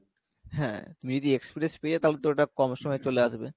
হ্যাঁ তুমি যদি express পেয়ে যাও তাহলে তো ওটা কম সময়ে চলে আসবে